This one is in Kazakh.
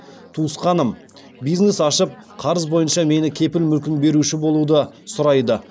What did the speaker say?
туысқаным бизнес ашып қарыз бойынша мені кепіл мүлкін беруші болуды сұрайды